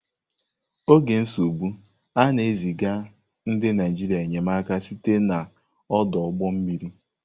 N'oge nsogbu, a na-eziga ndị Naịjirịa enyemaka site n'ọdụ ụgbọ mmiri.